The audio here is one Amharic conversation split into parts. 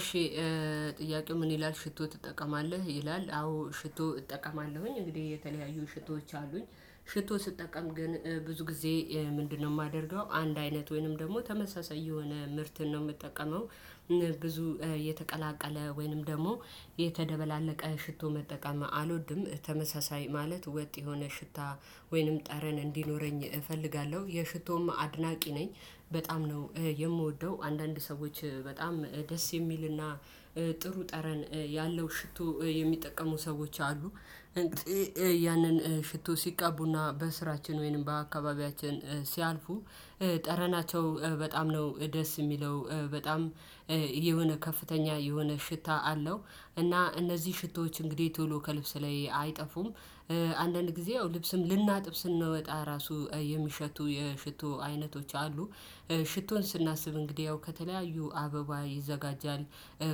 እሺ ጥያቄው ምን ይላል ሽቶ ትጠቀማለህ? ይላል አዎ ሽቶ እጠቀማለሁኝ እንግዲህ የተለያዩ ሽቶዎች አሉኝ ሽቶ ስጠቀም ግን ብዙ ጊዜ ምንድነው የማደርገው አንድ አይነት ወይንም ደግሞ ተመሳሳይ የሆነ ምርትን ነው የምጠቀመው። ብዙ የተቀላቀለ ወይንም ደግሞ የተደባለቀ ሽቶ መጠቀም አልወድም። ተመሳሳይ ማለት ወጥ የሆነ ሽታ ወይንም ጠረን እንዲኖረኝ እፈልጋለሁ። የሽቶም አድናቂ ነኝ በጣም ነው የምወደው አንዳንድ ሰዎች በጣም ደስ የሚልና ጥሩ ጠረን ያለው ሽቶ የሚጠቀሙ ሰዎች አሉ። ያንን ሽቶ ሲቀቡና በስራችን ወይንም በአካባቢያችን ሲያልፉ ጠረናቸው በጣም ነው ደስ የሚለው። በጣም የሆነ ከፍተኛ የሆነ ሽታ አለው። እና እነዚህ ሽቶዎች እንግዲህ ቶሎ ከልብስ ላይ አይጠፉም። አንዳንድ ጊዜ ያው ልብስም ልናጥብ ስንወጣ ራሱ የሚሸቱ የሽቶ አይነቶች አሉ። ሽቶን ስናስብ እንግዲህ ያው ከተለያዩ አበባ ይዘጋጃል።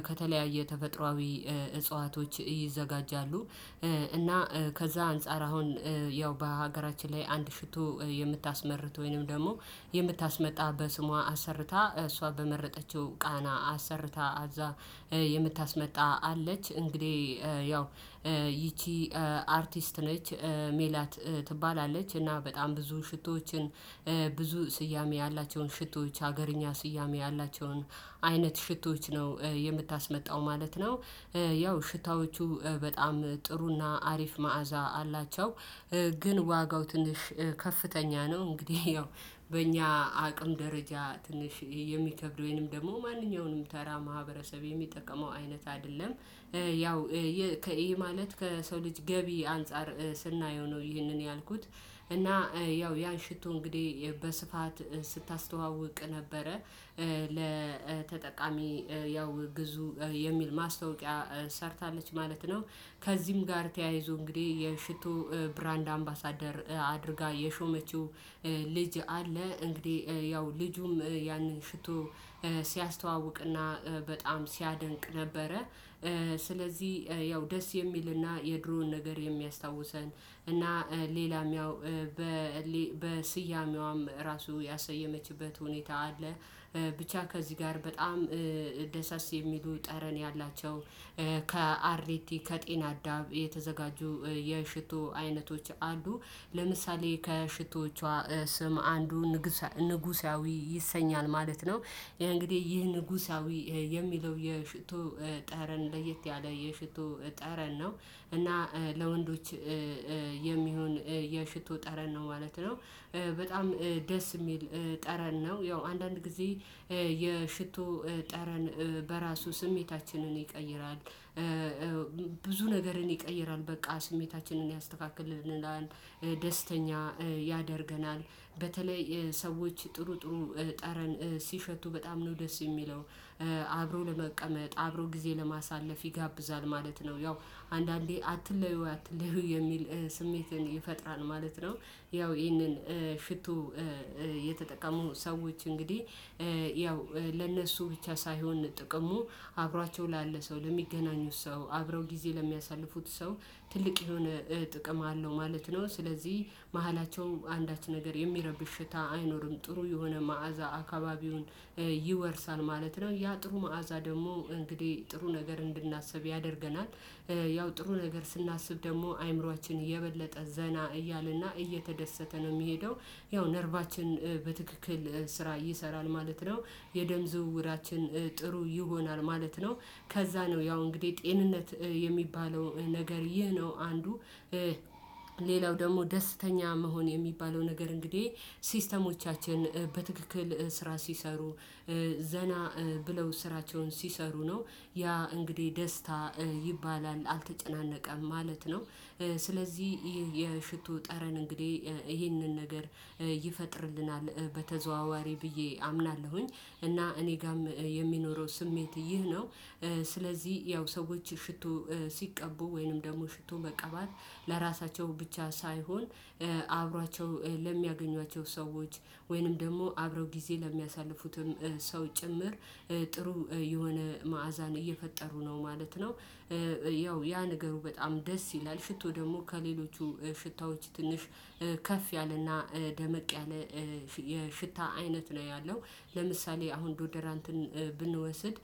ከተለያዩ ተፈጥሮአዊ እጽዋቶች ይዘጋጃሉ። እና ከዛ አንፃር አሁን ያው በሀገራችን ላይ አንድ ሽቶ የምታስመርት ወይንም ደግሞ የምታስመጣ በስሟ አሰርታ እሷ በመረጠችው ቃና አሰርታ እዛ የምታስመጣ አለች። እንግዲህ ይቺ አርቲስት ነች ሜላት ትባላለች። እና በጣም ብዙ ሽቶዎችን ብዙ ስያሜ ያላቸውን ሽቶዎች ሀገርኛ ስያሜ ያላቸውን አይነት ሽቶዎች ነው የምታስመጣው ማለት ነው። ያው ሽታዎቹ በጣም ጥሩና አሪፍ መዓዛ አላቸው። ግን ዋጋው ትንሽ ከፍተኛ ነው። እንግዲህ ያው በእኛ አቅም ደረጃ ትንሽ የሚከብድ ወይም ደግሞ ማንኛውንም ተራ ማህበረሰብ የሚጠቀመው አይነት አይደለም። ያው ይህ ማለት ከሰው ልጅ ገቢ አንፃር ስናየው ነው። ይህንን ያልኩት እና ያው ያ ሽቶ እንግዲህ በስፋት ስታስተዋውቅ ነበረ ለተጠቃሚ ያው ግዙ የሚል ማስታወቂያ ሰርታለች ማለት ነው። ከዚህም ጋር ተያይዞ እንግዲህ የሽቶ ብራንድ አምባሳደር አድርጋ የሾመችው ልጅ አለ። እንግዲህ ያው ልጁም ያንን ሽቶ ሲያስተዋውቅና በጣም ሲያደንቅ ነበረ። ስለዚህ ያው ደስ የሚልና የድሮውን ነገር የሚያስታውሰን እና ሌላም ያው በስያሜዋም ራሱ ያሰየመችበት ሁኔታ አለ። ብቻ ከዚህ ጋር በጣም ደሳስ የሚሉ ጠረን ያላቸው ከአርቲ ከጤና አዳም የተዘጋጁ የሽቶ አይነቶች አሉ። ለምሳሌ ከሽቶቿ ስም አንዱ ንጉሳዊ ይሰኛል ማለት ነው። እንግዲህ ይህ ንጉሳዊ የሚለው የሽቶ ጠረን ለየት ያለ የሽቶ ጠረን ነው። እና ለወንዶች የሚሆን የሽቶ ጠረን ነው ማለት ነው። በጣም ደስ የሚል ጠረን ነው። ያው አንዳንድ ጊዜ የሽቶ ጠረን በራሱ ስሜታችንን ይቀይራል። ብዙ ነገርን ይቀይራል በቃ ስሜታችንን ያስተካክልናል። ደስተኛ ያደርገናል። በተለይ ሰዎች ጥሩ ጥሩ ጠረን ሲሸቱ በጣም ነው ደስ የሚለው። አብሮ ለመቀመጥ አብሮ ጊዜ ለማሳለፍ ይጋብዛል ማለት ነው። ያው አንዳንዴ አትለዩ አትለዩ የሚል ስሜትን ይፈጥራል ማለት ነው። ያው ይህንን ሽቶ የተጠቀሙ ሰዎች እንግዲህ ያው ለነሱ ብቻ ሳይሆን ጥቅሙ አብሯቸው ላለ ሰው ለሚገናኙት ሰው አብረው ጊዜ ለሚያሳልፉት ሰው ትልቅ የሆነ ጥቅም አለው ማለት ነው። ስለዚህ መሃላቸው አንዳች ነገር የሚረብሽ ሽታ አይኖርም ጥሩ የሆነ መዓዛ አካባቢውን ይወርሳል ማለት ነው። ያ ጥሩ መዓዛ ደግሞ እንግዲህ ጥሩ ነገር እንድናስብ ያደርገናል። ያው ጥሩ ነገር ስናስብ ደግሞ አእምሮአችን የበለጠ ዘና እያለና እየተደሰተ ነው የሚሄደው። ያው ነርቫችን በትክክል ስራ ይሰራል ማለት ነው። የደም ዝውውራችን ጥሩ ይሆናል ማለት ነው። ከዛ ነው ያው እንግዲህ ጤንነት የሚባለው ነገር ይህ ነው አንዱ። ሌላው ደግሞ ደስተኛ መሆን የሚባለው ነገር እንግዲህ ሲስተሞቻችን በትክክል ስራ ሲሰሩ ዘና ብለው ስራቸውን ሲሰሩ ነው ያ እንግዲህ ደስታ ይባላል አልተጨናነቀም ማለት ነው። ስለዚህ ይሄ የሽቶ ጠረን እንግዲህ ይሄንን ነገር ይፈጥርልናል በተዘዋዋሪ ብዬ አምናለሁኝ። እና እኔ ጋርም የሚኖረው ስሜት ይህ ነው። ስለዚህ ያው ሰዎች ሽቶ ሲቀቡ ወይንም ደግሞ ሽቶ መቀባት ለራሳቸው ብቻ ሳይሆን አብሯቸው ለሚያገኟቸው ሰዎች ወይንም ደግሞ አብረው ጊዜ ለሚያሳልፉትም ሰው ጭምር ጥሩ የሆነ መዓዛን እየፈጠሩ ነው ማለት ነው። ያው ያ ነገሩ በጣም ደስ ይላል ሽቶ ደግሞ ከሌሎቹ ሽታዎች ትንሽ ከፍ ያለና ደመቅ ያለ የሽታ አይነት ነው ያለው ለምሳሌ አሁን ዶደራንትን ብንወስድ።